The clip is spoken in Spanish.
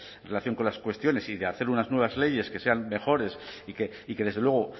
en relación con las cuestiones y de hacer unas nuevas leyes que sean mejores y que desde luego